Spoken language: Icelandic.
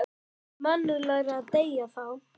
Það er mannúðlegra að deyða þá.